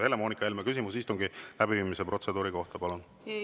Helle-Moonika Helme, küsimus istungi läbiviimise protseduuri kohta, palun!